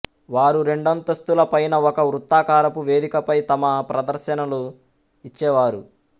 వారు రెండంతస్తుల పైన ఒక వృత్తాకారపు వేధికపై తమ ప్రధర్శనలు ఇచ్చేవారు